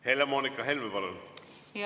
Helle-Moonika Helme, palun!